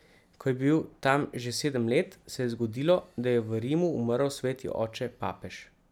Ko je bil tam že sedem let, se je zgodilo, da je v Rimu umrl sveti oče papež.